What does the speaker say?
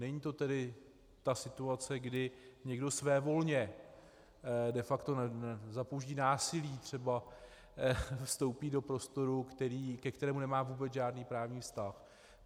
Není to tedy ta situace, kdy někdo svévolně, de facto za použití násilí třeba vstoupí do prostoru, ke kterému nemá vůbec žádný právní vztah.